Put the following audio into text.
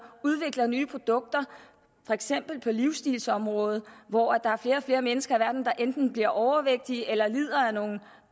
udvikler nye produkter for eksempel på livstilsområdet hvor der er flere og flere mennesker i verden der enten bliver overvægtige eller lider af nogle